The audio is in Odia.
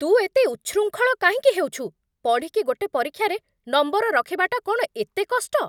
ତୁ ଏତେ ଉଚ୍ଛୃଙ୍ଖଳ କାହିଁକି ହେଉଛୁ? ପଢ଼ିକି ଗୋଟେ ପରୀକ୍ଷାରେ ନମ୍ବର ରଖିବାଟା କ'ଣ ଏତେ କଷ୍ଟ?